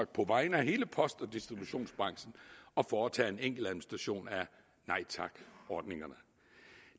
på vegne af hele post og distributionsbranchen at foretage en enkel administration af nej tak ordningerne